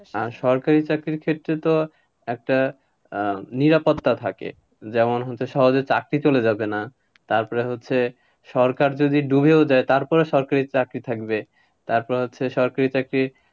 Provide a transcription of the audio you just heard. আর সরকারি চাকরির ক্ষেত্রে তো একটা আহ নিরাপত্তা থাকে, যেমন হচ্ছে সহজে চাকরি চলে যাবে না, তারপরে হচ্ছে সরকার যদি ডুবেও যায় তারপরেও সরকারি চাকরি থাকবে, তপোরে হচ্ছে সরকারি চাকরি,